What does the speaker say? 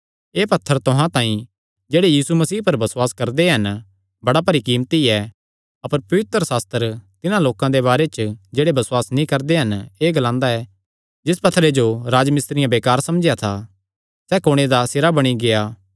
एह़ पत्थर तुहां तांई जेह्ड़े यीशु मसीह पर बसुआस करदे हन बड़ा भरी कीमती ऐ अपर पवित्रशास्त्र तिन्हां लोकां दे बारे च जेह्ड़े बसुआस नीं करदे एह़ ग्लांदा ऐ जिस पत्थरे जो राजमिस्त्रियां बेकार समझेया था सैई कुणे दा सिरा बणी गेआ